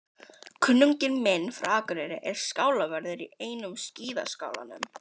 Kunningi minn frá Akureyri er skálavörður í einum skíðaskálanum.